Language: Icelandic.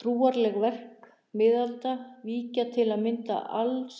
Trúarleg verk miðalda víkja til að mynda alls